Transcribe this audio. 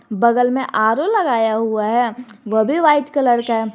बगल में आर_ओ लगाया हुआ है वह भी व्हाइट कलर का है।